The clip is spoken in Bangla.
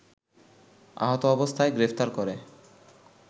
আহত অবস্থায় গ্রেফতার করে